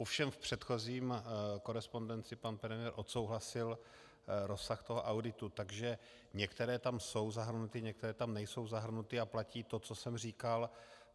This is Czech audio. Ovšem v předchozí korespondenci pan premiér odsouhlasil rozsah toho auditu, takže některé tam jsou zahrnuty, některé tam nejsou zahrnuty a platí to, co jsem říkal.